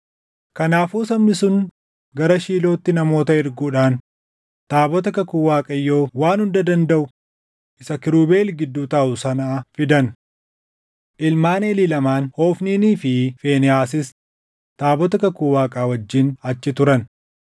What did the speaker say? Kanaafuu sabni sun gara Shiilootti namoota erguudhaan taabota kakuu Waaqayyoo Waan Hunda Dandaʼu isa kiirubeel gidduu taaʼu sanaa fidan. Ilmaan Eelii lamaan Hofniinii fi Fiinehaasis taabota kakuu Waaqaa wajjin achi turan.